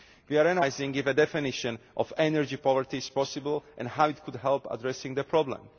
We are analysing if a definition of energy poverty is possible and how it could help address the problem.